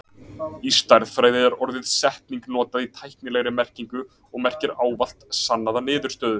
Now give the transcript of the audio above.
Í stærðfræði er orðið setning notað í tæknilegri merkingu og merkir ávallt sannaða niðurstöðu.